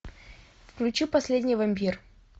включи последний вампир